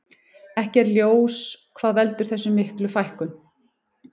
Ekki er ljós hvað veldur þessar miklu fækkun.